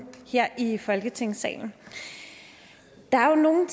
her i folketingssalen der er jo nogle